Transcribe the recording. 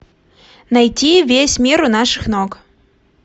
найти весь мир у наших ног